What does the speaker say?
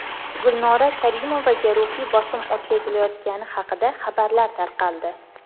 Gulnora Karimovaga ruhiy bosim o‘tkazilayotgani haqida xabarlar tarqaldi.